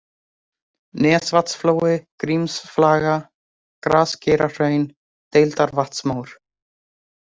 Nesvatnsflói, Grímsaflaga, Grasgeirahraun, Deildarvatnsmór